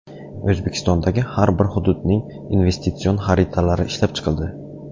O‘zbekistondagi har bir hududning investitsion xaritalari ishlab chiqildi.